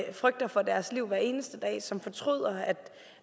og frygter for deres liv hver eneste dag og som fortryder